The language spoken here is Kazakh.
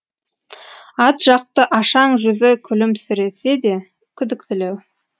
атжақты ашаң жүзі күлімсіресе де күдіктілеу